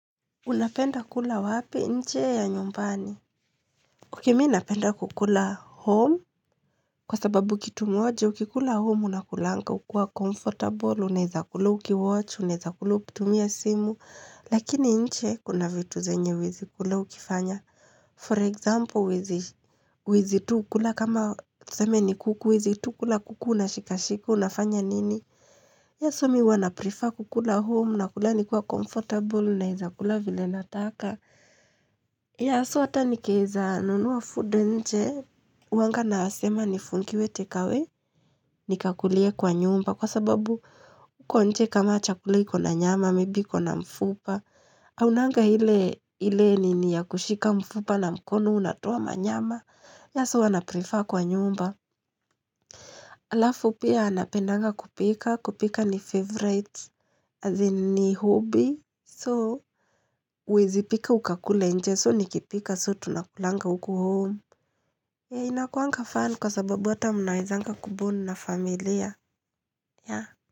Unapenda kula wapi? Nje ya nyumbani. Mimi napenda kukula home. Kwa sababu kitu moja, ukikula home, unakulanga, ukiwa comfortable, unaweza kula ukiwatch, unaweza kula ukitumia simu. Lakini nje, kuna vitu zenye huwezi kula ukifanya. For example, huwezi tu kula, kama tuzeme ni kuku, huwezi tu kula, kuku na unashikashika, unafanya nini? Tha'[s why mimi huwa naprefer kukula home, nakula nikiwa comfortable, naweza kula vile nataka. So hata nikiweza nunua food nje huwaanga nasema nifungiwe take away Nikakulie kwa nyumba Kwa sababu huko nje kama chakula ikona nyama Maybe ikona mfupa haunanga ile nini ya kushika mfupa na mkono unatoa manyama that's why huwa naprefer kwa nyumba Alafu pia napendanga kupika kupika ni favorite as in ni hobby So huwezi pika ukakule nje So nikipika so tunakulanga huku home. Inakuanga fun kwa sababu hata mnawezanga kubond na familia.